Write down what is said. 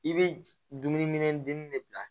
I bɛ dumuniminɛn dili de bila